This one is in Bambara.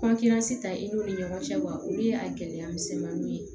ta i n'u ni ɲɔgɔn cɛ wa olu y'a gɛlɛya misɛnmaninw ye